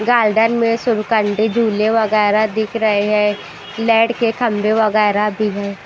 Garden मे सुबकंडी झूले वगैरा दिख रहे हैं लाइट के खंबे वगैरा भी हैं।